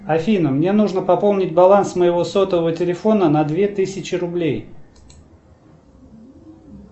афина мне нужно пополнить баланс моего сотового телефона на две тысячи рублей